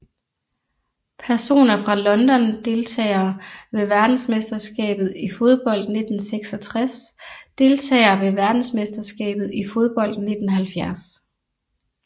Personer fra London Deltagere ved verdensmesterskabet i fodbold 1966 Deltagere ved verdensmesterskabet i fodbold 1970